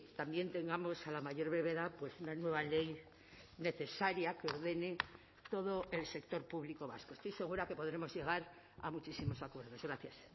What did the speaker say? también tengamos a la mayor brevedad una nueva ley necesaria que ordene todo el sector público vasco estoy segura que podremos llegar a muchísimos acuerdos gracias